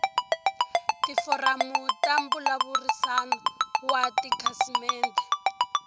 tiforamu ta mbulavurisano wa tikhasimende